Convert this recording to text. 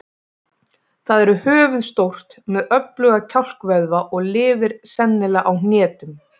Það er höfuðstórt með öfluga kjálkavöðva og lifir sennilega á hnetum.